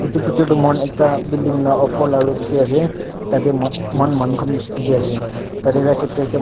edu picture toh moikhan ekta building la opor la roof de ase tade moa moahan manu khan bishi dikhiase tade right side de ekta manu--